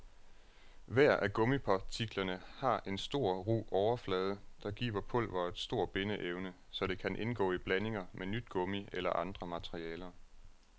Hver af gummipartiklerne for en stor, ru overflade, der giver pulveret stor bindeevne, så det kan indgå i blandinger med nyt gummi eller andre materialer.